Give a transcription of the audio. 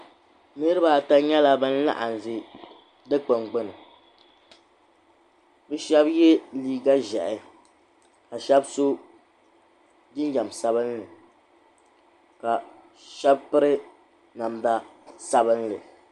Niriba ata nyɛla ban n-laɣim ʒi dukpuni gbuni bɛ shɛba ye liiga ʒɛhi ka shɛba so jinjam sabinli ka shɛba piri namda sabinli.